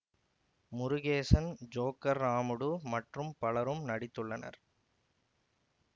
Murugesan Joker Ramudu மற்றும் பலரும் நடித்துள்ளனர்